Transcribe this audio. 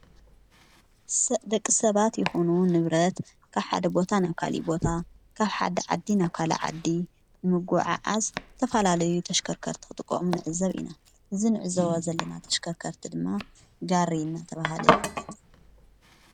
ደቂ ሰባት ይኾኑዉን ንብረት ካብ ሓደ ቦታ ና ካሊቦታ ካብ ሓዲ ዓዲ ና ካል ዓዲ ንምጕዐ ዓዝ ተፋላለዩ ተሽከርከርትኽጥዖም ንዕዘብ ኢና ዝ ንዕ ዘዋ ዘለና ተሽከርከርቲ ድማ ጋሪ ናተብሃለ ይፍለጥ ::